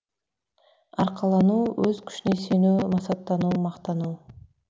арқалану өз күшіне сену масаттану мақтану